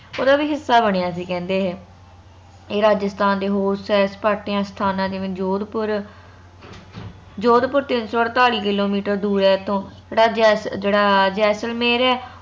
ਉਹਦਾ ਵੀ ਹਿੱਸਾ ਬਣਿਆ ਸੀ ਕਹਿੰਦੇ ਇਹੇ ਏ ਰਾਜਸਥਾਨ ਦੇ ਹੋਰ ਸੈਰ ਸਪਾਟਿਆਂ ਸਥਾਨਾਂ ਜਿਵੇ ਜੋਧਪੁਰ ਜੋਧਪੁਰ ਤਿਨ ਸੋ ਅੜਤਾਲੀ ਕਿੱਲੋਮੀਟਰ ਦੂਰ ਐ ਏਥੋਂ ਜਿਹੜਾ ਜੈਸ ਜਿਹੜਾ ਜੈਸਲਮੇਰ ਹੈ